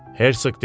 Hersk dedi.